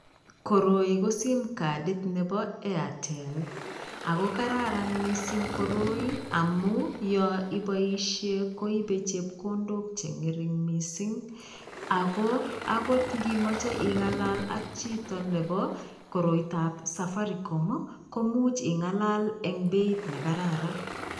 Koroi ko simkadit nebo Airtel ako kararan mising koroi amu yo iboishie koibe chepkondok che ngering mising, ako akot ngimoche ingalal ak chito nebo koroitab Safaricom ii, komuch ingalal eng beit ne kararan.